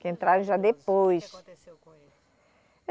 Que entraram já depois. Que aconteceu com eles?